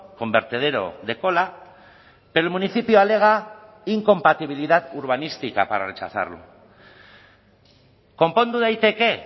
con vertedero de cola pero el municipio alega incompatibilidad urbanística para rechazarlo konpondu daiteke